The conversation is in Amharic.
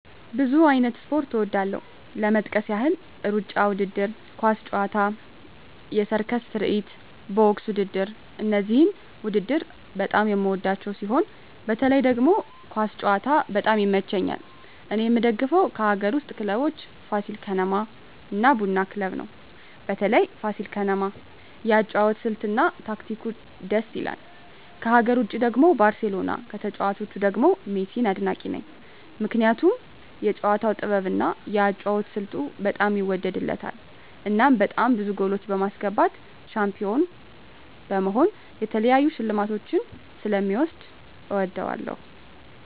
ብዙ አይነት ስፖርት እወዳለሁ ለመጥቀስ ያህል እሩጫ ውድድር፣ ኳስ ጨዋታ፣ የሰርከስ ትርኢት፣ ቦክስ ውድድር እነዚህን ውድድር በጣም የምወዳቸው ሲሆን በተለይ ደግሞ ኳስ ጨዋታ በጣም ይመቸኛል እኔ የምደግፈው ከአገር ውስጥ ክለቦች ፋሲል ከነማ እና ቡና ክለብ ነው በተለይ ፋሲል ከነማ የአጨዋወት ስልት እና ታክቲኩ ድስ ይላል ከሀገር ውጭ ደግሞ ባርሴሎና ከተጫዋቾቹ ደግሞ ሜሲን አድናቂ ነኝ ምክንያቱም የጨዋታው ጥበብ እና የአጨዋወት ስልቱ በጣም ይወደድለታል እናም በጣም ብዙ ጎሎች በማስገባት ሻንፒሆን በመሆን የተለያዩ ሽልማቶችን ስለ ሚወስድ እወደዋለሁ።